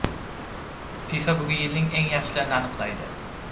FIFA bugun yilning eng yaxshilarini aniqlaydi.